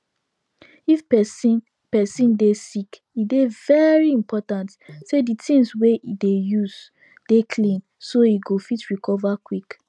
if person person dey sick e dey very important say the things wey e dey use dey clean so e go fit recover quick